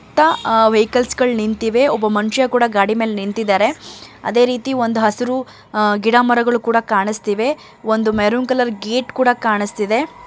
ತ್ತ ವೆಹಿಕಲ್ಸ್ ಗಳ ನಿಂತಿವೆ. ಒಬ್ಬ ಮನುಷ್ಯ ಕೂಡ ಗಾಡಿ ಮೇಲೆ ನಿಂತಿದ್ದಾರೆ ಅದೇ ರೀತಿ ಒಂದ್ ಹಸ್ರು ಗಿಡ ಮರಗಳು ಕೂಡ ಕಾಣಿಸ್ತಿವೆ ಒಂದು ಮೆರೂನ್ ಕಲರ್ ಗೇಟ್ ಕೂಡ ಕಾಣಿಸ್ತಿದೆ .